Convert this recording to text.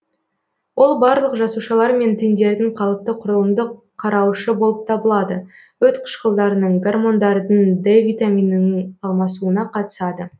ол барлық жасушалар мен тіндердің қалыпты құрылымдық қарауышы болып табылады өт қышқылдарының гормондардың д витаминінің алмасуына қатысады